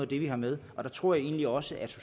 det vi har med og jeg tror egentlig også at